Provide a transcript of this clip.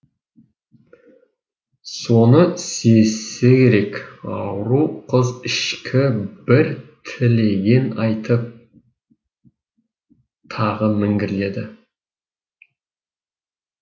соны сезсе керек ауру қыз ішкі бір тілегін айтып тағы міңгірледі